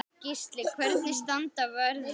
Gísli: Hvernig standa verðin?